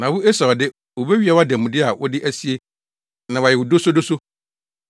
Na wo Esau de, wobewia wʼademude a wode asie na wɔayɛ wo dosodoso.